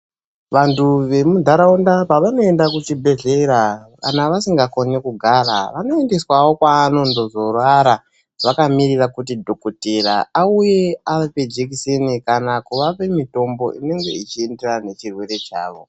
Vantu vemundaraunda pavanoenda kuchibhehlera kana vasingakoni kugara vanoendeswawo kwaandozorara vakamirira kuti dhokotera auye avape jekiseni kana kuvape mitombo inenge ichienderana nechirwere chavo.